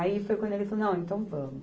Aí foi quando ele falou, não, então vamos.